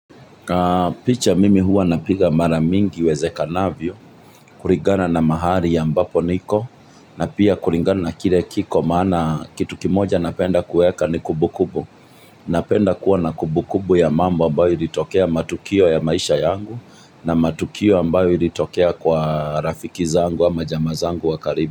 Picha mimi huwa napiga mara mingi iwezekanavyo, kurigana na mahali ambapo niko, na pia kurigana na kire kiko maana kitu kimoja napenda kueka ni kubu kubu, napenda kuwa na kubu kubu ya mambo ambayo ilitokea matukio ya maisha yangu, na matukio ambayo ilitokea kwa rafiki zangu ama jamaa zangu wa karibi.